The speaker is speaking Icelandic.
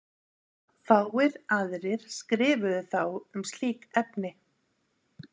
fáir aðrir skrifuðu þá um slík efni